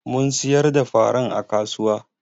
Mun siyar da faran a kasuwa.